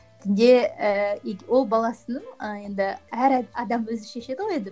дінде ііі ол баласының ы енді әр адам өзі шешеді ғой енді